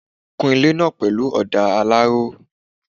Kun ilé náà pẹ̀lú ọ̀dà alaro